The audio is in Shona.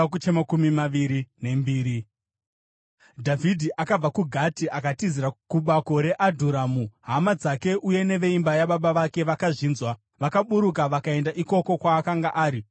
Dhavhidhi akabva kuGati akatizira kubako reAdhurami. Hama dzake uye neveimba yababa vake vakazvinzwa, vakaburuka vakaenda ikoko kwaakanga ari.